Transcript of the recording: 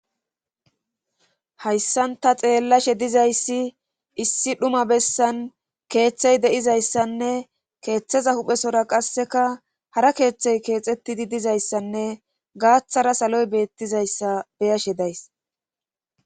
hayssan ta xeellashe dizayssi issi dhuma bessan keeththey de'izayssan e keeththeza huphesora qasseka hara keeththey keexetidi dizayssanne gaaththara saloy beettizayssa beyashe days